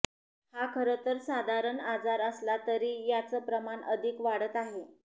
हा खरंतर साधारण आजार असला तरी याचं प्रमाण अधिक वाढत आहे